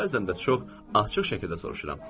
Bəzən də çox açıq şəkildə soruşuram.